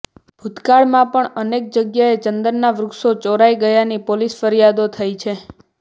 ભૂતકાળમાં પણ અનેક જગ્યાએ ચંદનના વૃક્ષો ચોરાય ગયાની પોલીસ ફરિયાદો થઇ છે